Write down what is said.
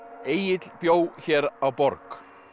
Egill bjó hér á borg